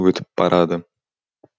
өтіп барады